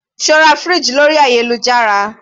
Sé o ra fridge lórí ayélujára?